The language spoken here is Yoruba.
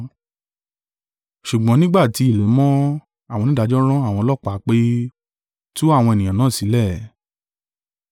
Ṣùgbọ́n nígbà tí ilẹ̀ mọ́, àwọn onídàájọ́ rán àwọn ọlọ́pàá pé, “Tú àwọn ènìyàn náà sílẹ̀.”